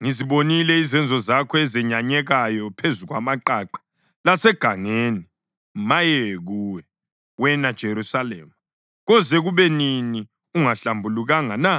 Ngizibonile izenzo zakho ezenyanyekayo phezu kwamaqaqa lasegangeni. Maye kuwe, wena Jerusalema! Koze kube nini ungahlambulukanga na?”